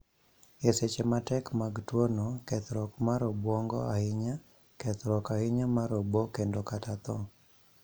E seche matek mag tuo no, kethruok mar obwongo ahinya, kethruok ahinya mar obo kendo kata tho